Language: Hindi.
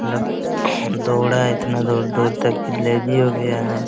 मतलब हम दौड़े इतना दूर-दूर तक की लेजी हो गया है।